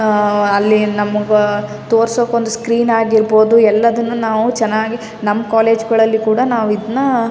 ಅಹ್ ಅಲ್ಲಿ ನಮಗ ತೋರ್ಸೋಕ್ ಒಂದು ಸ್ಕ್ರೀನ್ ಆಗಿರ್ಬಹುದು ಎಲ್ಲದನ್ನು ನಾವು ಚೆನ್ನಾಗಿ ನಮ್ ಕಾಲೇಜು ಗಳಲ್ಲಿ ಕೂಡ ನಾವ್ ಇದನ್ನ --